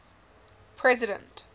president